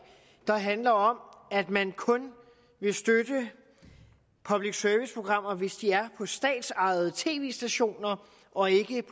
der handler om at man kun vil støtte public service programmer hvis de er på statsejede tv stationer og ikke